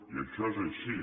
i això és així